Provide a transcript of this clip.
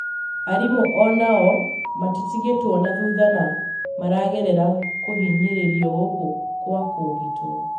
arimũ onao matitigĩtwo na thutha no maragerera kũhinyĩrĩrio gũkũ kwa kũũgitwo.